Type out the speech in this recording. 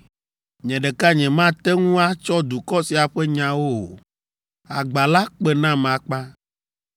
Nye ɖeka nyemate ŋu atsɔ dukɔ sia ƒe nyawo o. Agba la kpe nam akpa!